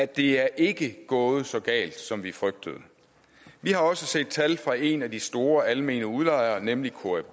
det er ikke gået så galt som vi frygtede vi har også set tal fra en af de store almene udlejere nemlig